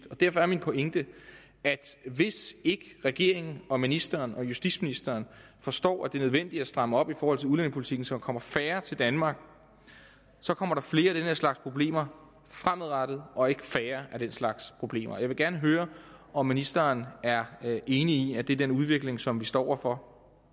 og derfor er min pointe at hvis ikke regeringen og ministeren og justitsministeren forstår at det er nødvendigt at stramme op i forhold til udlændingepolitikken så der kommer færre til danmark så kommer der flere af den her slags problemer fremadrettet og ikke færre af den slags problemer jeg vil gerne høre om ministeren er enig i at det er den udvikling som vi står over for